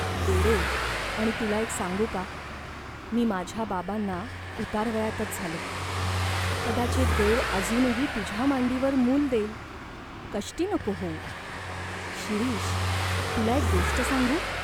वेडे आणि तुला एक सांगू का, मी माझ्या बाबांना उतारवयातच झालो , कदाचित् देव अजूनही तुझ्या मांडीवर मूल देईल. कष्टी नको होऊ." "शिरीष, तुला एक गोष्ट सांगू ?